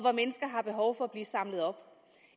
har behov for at blive samlet op